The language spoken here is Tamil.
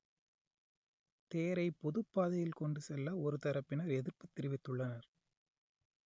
தேரை பொதுப் பாதையில் கொண்டு செல்ல ஒரு தரப்பினர் எதிர்ப்புத் தெரிவித்துள்ளனர்